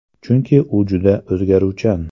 Chunki u juda o‘zgaruvchan.